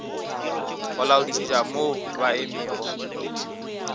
go laodišetša mo ba emego